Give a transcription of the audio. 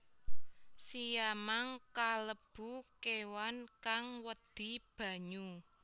Siamang kalebu kéwan kang wedi banyu